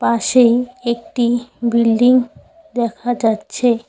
পাশেই একটি বিল্ডিং দেখা যাচ্ছে।